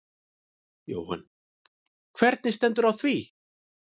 Jóhann: Hvernig stendur á því?